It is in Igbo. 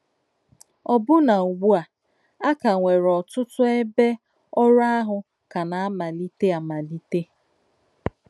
Ọ̀bụ́ná ùgbú à, á kà nwèrè òtútù èbè òrụ̀ àhụ̀ kà nà-àmalítè àmalítè.